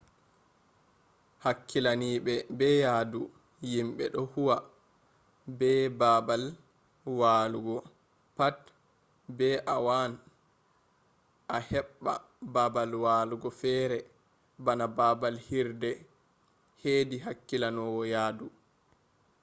hakkilinaaɓe be yahdu yimɓe ɗo huwa be baabal walugo pat be a waan a heɓɓa baabal walugo fere bana baabal hirde hedi hakkilinowo yahdu